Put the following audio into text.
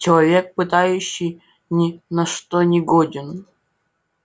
человек пытающий ни на что не годен